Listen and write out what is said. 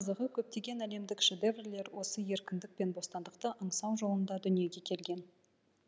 қызығы көптеген әлемдік шедеврлер осы еркіндік пен бостандықты аңсау жолында дүниеге келген